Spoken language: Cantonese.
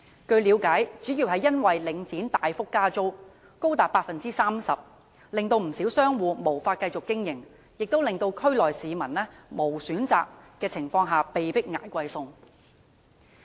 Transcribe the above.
據了解，主要因為領展大幅加租，最高達 30%， 令不少商戶無法繼續經營，亦令區內市民在無選擇的情況下被迫"捱貴餸"。